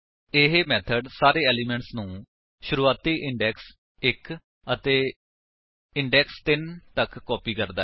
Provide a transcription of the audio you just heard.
ਇਹ ਮੇਥਡ ਸਾਰੇ ਏਲਿਮੇਂਟਸ ਨੂੰ ਸ਼ੁਰੁਵਾਤੀ ਇੰਡੇਕਸ 1 ਅਤੇ ਇੰਡੇਕਸ 3 ਤੱਕ ਕਾਪੀ ਕਰਦਾ ਹੈ